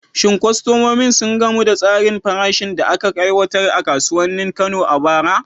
Shin kwastomomin sun gamsu da tsarin farashin da aka aiwatar a kasuwannin Kano a bara?